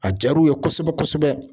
A diyar'u ye kosɛbɛ kosɛbɛ.